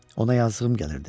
Ona yazığım gəlirdi.